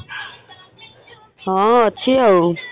ହଁ ଅଛି ଆଉ।